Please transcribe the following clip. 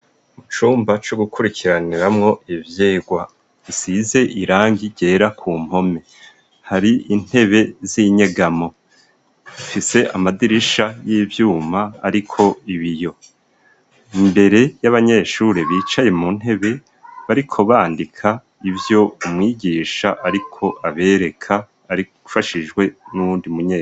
Mu cumba co gukurikiraniramwo ivyigwa, gisize irangi gera ku mpome hari intebe z'inyegamo. Rifise amadirisha y'ivyuma ariko ibiyo, imbere y'abanyeshure bicaye mu ntebe bariko bandika ivyo umwigisha ariko abereka abifashijwe n'uwundi munyeshure.